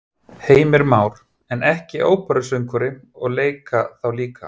Heimir Már: En ekki óperusöngvari og leika þá líka?